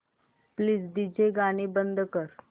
please DJ गाणी बंद कर